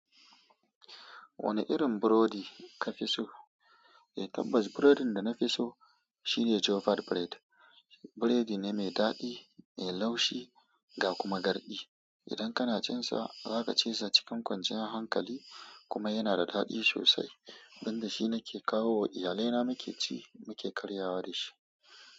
Wane irin burodi ka fi so? Eh tabbas burodin dana fi so shine "jofad bread". Buredi ne mai daɗi, mai laushi ga kuma garɗi. Idan kana cin sa, za ka cisa cikin kwanciyar hankali kuma yana da daɗi sosai, don da shi nake kawo wa iyalaina muke ci, muke karyawa da shi.